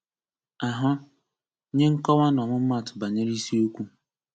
Ahụ: Nye nkọwa na ọmụmatụ banyere isiokwu